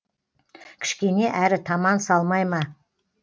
кішкене әрі таман салмай ма